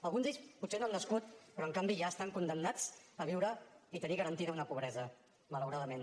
alguns d’ells potser no han nascut però en canvi ja estan condemnats a viure i tenir garantida una pobresa malauradament